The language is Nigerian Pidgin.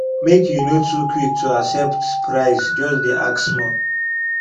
make you no too quick to accept price just dey ask small